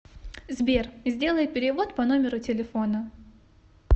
сбер сделай перевод по номеру телефона